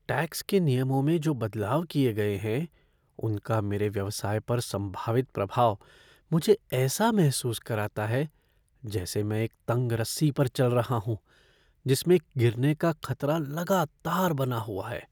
Tax के नियमों में जो बदलाव किए गए हैं उनका मेरे व्यवसाय पर संभावित प्रभाव मुझे ऐसा महसूस कराता है जैसे मैं एक तंग रस्सी पर चल रहा हूं जिसमें गिरने का खतरा लगातार बना हुआ है।